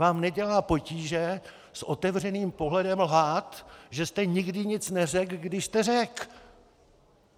Vám nedělá potíže s otevřeným pohledem lhát, že jste nikdy nic neřekl, když jste řekl.